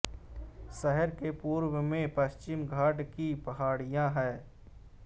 शहर के पूर्व में पश्चिमी घाट की पहाड़ियाँ हैं